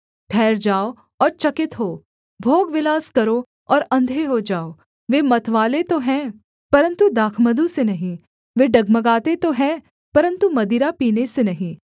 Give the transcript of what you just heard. ठहर जाओ और चकित हो भोगविलास करो और अंधे हो जाओ वे मतवाले तो हैं परन्तु दाखमधु से नहीं वे डगमगाते तो हैं परन्तु मदिरा पीने से नहीं